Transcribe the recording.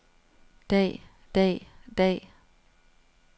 dag dag dag